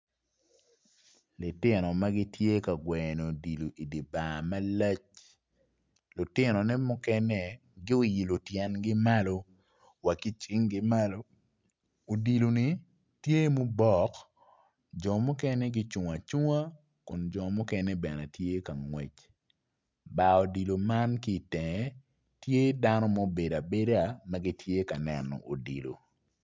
Lutino ma gitye ka gweyo odilo i dye bar malac lutinone mukene guilo tyengi malo wa ki cingi malo odilo ni tye mubuk jo mukene gucung aunga kun jo mukene gitye ka ngwec. Bar odilo man ki i tenge tye dano ma gubedo abeda.